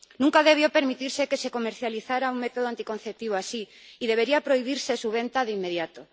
Nunca debió permitirse que se comercializara un método anticonceptivo así y debería prohibirse su venta de inmediato.